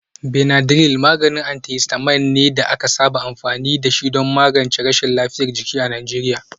Benadryl maganin antihistamine ne da aka saba amfani da shi don magance rashin lafiyar jiki a Najeriya.